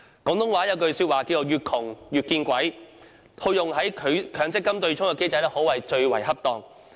廣東話有句俗語是"越窮越見鬼"，套用在強積金對沖機制可謂最為恰當。